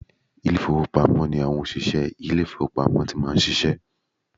Ilé ìfowópamọ́ ni àwọn òṣìsẹ́ ilé ìfowópamọ́ ti máa ń ṣiṣẹ́